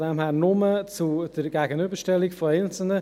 Daher spreche ich nur zur Gegenüberstellung einzelner.